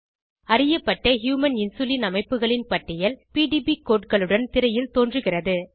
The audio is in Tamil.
அறியப்பட்ட ஹியூமன் இன்சுலின் அமைப்புகளின் பட்டியல் பிடிபி கோடு களுடன் திரையில் தோன்றுகிறது